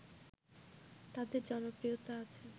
তাদের জনপ্রিয়তা আছে